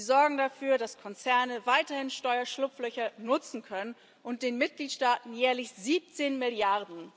Sie sorgen dafür, dass Konzerne weiterhin Steuerschlupflöcher nutzen können und den Mitgliedstaaten jährlich 17 Mrd.